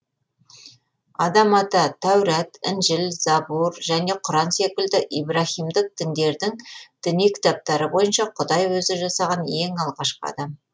адам ата тәурат інжіл забур және құран секілді ибраһимдік діндердің діни кітаптары бойынша құдай өзі жасаған ең алғашқы адам